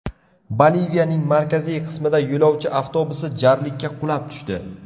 Boliviyaning markaziy qismida yo‘lovchi avtobusi jarlikka qulab tushdi.